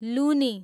लुनी